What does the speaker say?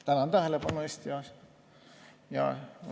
Tänan tähelepanu eest!